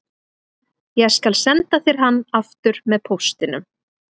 Ég skal senda þér hann aftur með póstinum